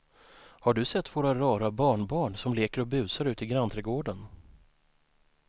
Har du sett våra rara barnbarn som leker och busar ute i grannträdgården!